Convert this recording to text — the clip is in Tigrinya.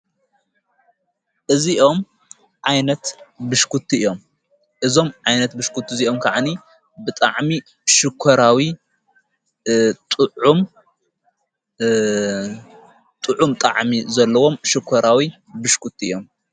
እዚኦም ዓይነት ብሽኩቲ እዮም እዞም ዓይነት ብሽክት እዚይኦም ከዓኒ ብጥዕሚ ሽኮራዊ ዑጥዑም ጥዕሚ ዘለዎም ሽኮራዊ ብሽክኩ እዮም።